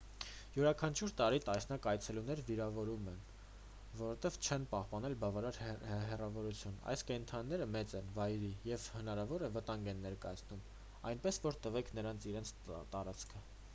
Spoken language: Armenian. յուրաքանչյուր տարի տասնյակ այցելուներ վիրավորվում են որովհետև չեն պահպանել բավարար հեռավորությունը այս կենդանիները մեծ են վայրի և հնարավոր վտանգ են ներկայացնում այնպես որ տվեք նրանց իրենց տարածքը